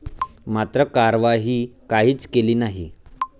मात्र कार्यवाही काहीच केली नाही.